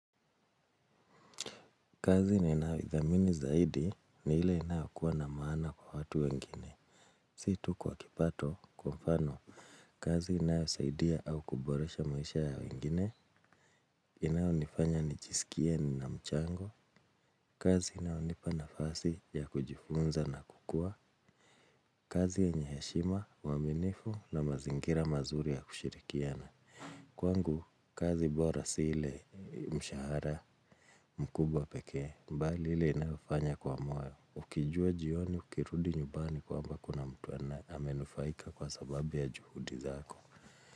Kazi ninayo idhamini zaidi ni ile inayo kuwa na maana kwa watu wengine. Si tu kwa kipato kwa mfano. Kazi inayo saidia au kuboresha maisha ya wengine. Inayo nifanya nijiisikie nina mchango. Kazi inayo nipa nafasi ya kujifunza na kukua. Kazi yenye heshima, uaminifu na mazingira mazuri ya kushirikiana. Kwangu kazi bora si ile ya mshahara mkubwa pekee. Mbali ile ninayofanya kwa moyo. Ukijua jioni, ukirudi nyubani kwamba kuna mtu amenufaika kwa sababu ya juhudi zako.